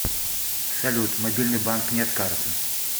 салют мобильный банк нет карты